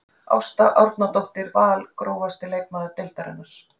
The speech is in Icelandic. Ásta Árnadóttir Val Grófasti leikmaður deildarinnar?